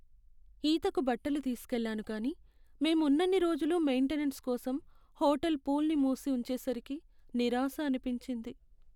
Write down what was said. ఈతకు బట్టలు తీసుకెళ్ళాను కానీ మేం ఉన్నన్ని రోజులూ మెయిన్టెనెన్స్ కోసం హోటల్ పూల్ను మూసి ఉంచేసరికి నిరాశ అనిపించింది.